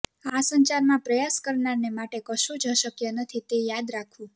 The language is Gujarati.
આ સંસારમાં પ્રયાસ કરનારને માટે કશું જ અશક્ય નથી તે યાદ રાખવું